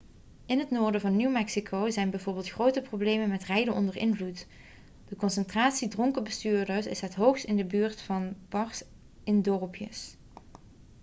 in het noorden van new mexico zijn bijvoorbeeld grote problemen met rijden onder invloed de concentratie dronken bestuurders is het hoogst in de buurt van bars in dorpjes